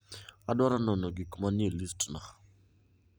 adwaro nono gik ma nie list na